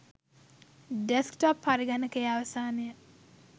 desk top පරිගණකයේ අවසානය